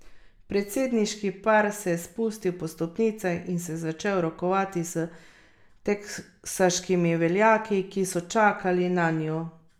Predsedniški par se je spustil po stopnicah in se začel rokovati s teksaškimi veljaki, ki so čakali nanju.